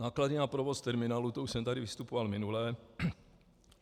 Náklady na provoz terminálů, to už jsem tady vystupoval minule.